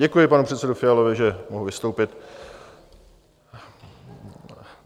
Děkuji panu předsedovi Fialovi, že mohu vystoupit.